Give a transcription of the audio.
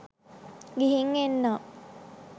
ගිහින් එන්නම්